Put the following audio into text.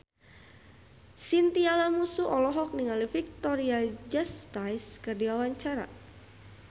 Chintya Lamusu olohok ningali Victoria Justice keur diwawancara